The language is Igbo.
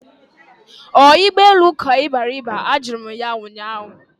Ọ ụgbọelu ka ị bịara iba? Ajụrụ m ụnyaahụ